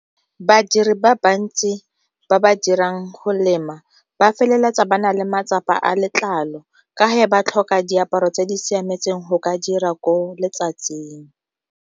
Badiri ba bantsi ba ba dirang go lema ba feleletsa ba na le matsapa a letlalo, ka ba tlhoka diaparo tse di siametseng go ka dira ko letsatsing.